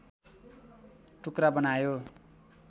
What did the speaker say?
टुक्रा बनायो